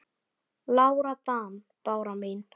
Lára Dan. Bára mín.